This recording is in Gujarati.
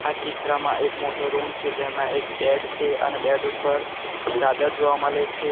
આ ચિત્રમાં એક મોટો રૂમ છે જેમાં એક બેડ છે અને બેડ ઉપર ચાદર જોવા મલે છે.